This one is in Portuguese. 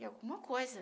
e alguma coisa.